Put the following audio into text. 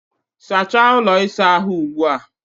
Sachaa ụlọ ịsa ahụ ugbu a!